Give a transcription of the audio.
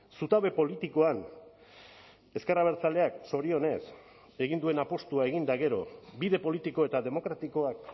zutabe politikoan ezker abertzaleak zorionez egin duen apustua egin eta gero bide politiko eta demokratikoak